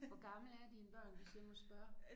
Hvor gamle er dine børn hvis jeg må spørge